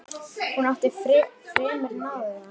Hún átti fremur náðugan dag.